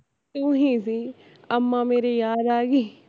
ਤੂੰ ਹੀਂ ਸੀ ਅਮਾਂ ਮੇਰੀ ਯਾਦ ਆਗੀ